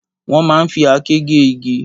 Wòn má n fi àké gé igi